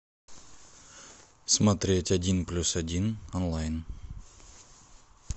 смотреть один плюс один онлайн